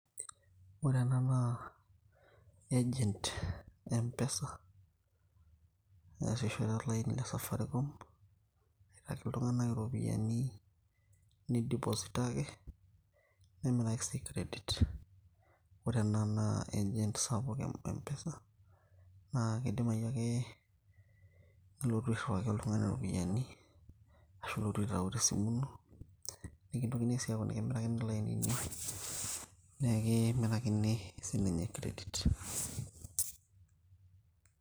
ore ena naa agent e mpesa neasishore olaini le safaricom aitaki iltung'anak iropiyiani nidipositaki nemiraki sii credit ore ena naa agent sapuk e mpesa naa kidimai ake nilotu airriwaki oltung'ani iropiyiani ashu ilotu aitau tesimu ino nikintokini sii aaku nikimiraini ilainini nekimirakini sininye credit.